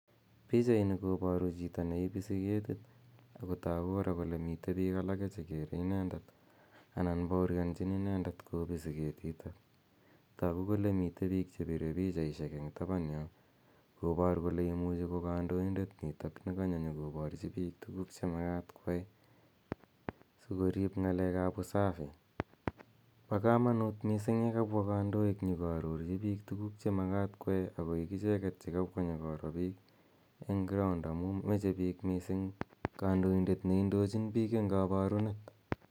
Pichaini koparu chito ne ipisi ketiit ako tagu kora kole mitei piik alake che kere inendet ana paorianchin inendet kopisi ketitok. Tagu kole mitei piik che pire pichaishek eng' tapan yo, kopar kole imuchi ko kandoindet nitok ne kanyo nyu koparchi piik tuguuk che makat koyai si koriip ng'aleek ap usafi. Pa kamanuut missing' ye kapwa kandoiik nyu ko arorchi piik tuguuk che makat koyai. Akoik icheget che kapwa nyi koro piik eng ground amu mache piik missing' kandoindet ne indochin piik eng' kaparunet.